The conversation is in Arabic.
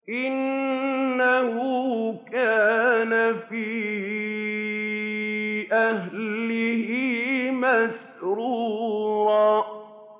إِنَّهُ كَانَ فِي أَهْلِهِ مَسْرُورًا